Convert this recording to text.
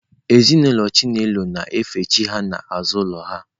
Ezinụlọ Chinelo na-efe chi ha n'azụ ụlọ.